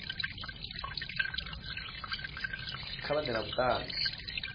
kha vha ḓe na vhuṱanzi